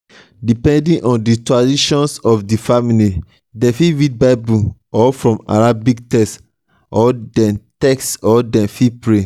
depending on di tradition of di family dem fit read bible or from arabic text or dem text or dem fit pray